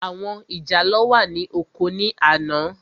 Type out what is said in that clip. Àwọn ìjàlọ́ wà ní oko ní àná.